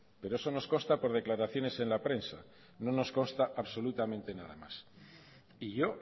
pero eso nos consta por declaraciones en la prensa no nos consta absolutamente nada más y yo